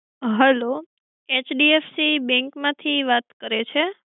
Hello HDFC bank માંથી વાત કરે છે?